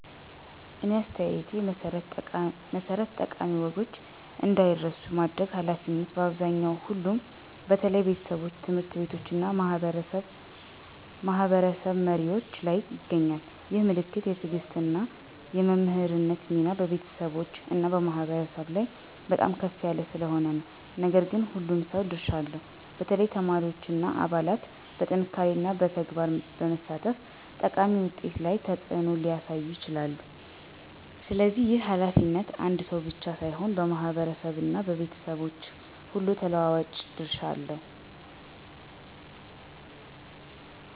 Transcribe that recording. እኔ አስተያየቴ መሠረት ጠቃሚ ወጎች እንዳይረሱ የማድረግ ኃላፊነት በአብዛኛው ሁሉም በተለይ ቤተሰቦች፣ ትምህርት ቤቶች እና ማህበረሰብ መሪዎች ላይ ይገኛል። ይህ ምክንያት የትዕግሥት እና የመምህርነት ሚና በቤተሰቦች እና በማህበረሰብ ላይ በጣም ከፍ ያለ ስለሆነ ነው። ነገር ግን ሁሉም ሰው ድርሻ አለው፣ በተለይ ተማሪዎች እና አባላት በጥንካሬና በተግባር በመሳተፍ ጠቃሚ ውጤት ላይ ተጽዕኖ ሊያሳዩ ይችላሉ። ስለዚህ ይህ ኃላፊነት አንድ ሰው ብቻ ሳይሆን በማህበረሰብ እና በቤተሰቦች ሁሉ ተለዋዋጭ ድርሻ አለው።